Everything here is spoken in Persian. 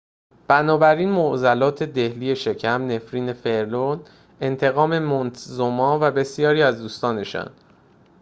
بنابراین معضلات دهلی شکم نفرین فرعون انتقام مونتزوما و بسیاری از دوستانشان